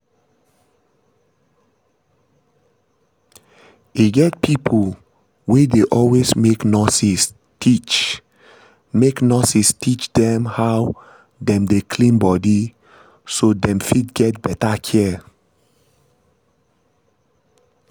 e get pipo wey dey always make nurses teach make nurses teach dem how dem dey clean body so dem fit get better care